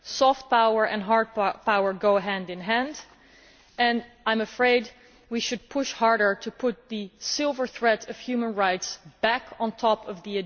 Soft power and hard power go hand in hand, and I am afraid we should push harder to put the silver thread of human rights back on top of the agenda.